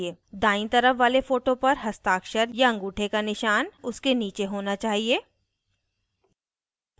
दायीं तरफ वाले photo पर हस्ताक्षर/अँगूठे का निशान उसके नीचे होना चाहिए